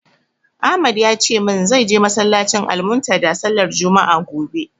Ahmad ya ce min zai je masallacin "Almuntadha" sallar juma'a, gobe.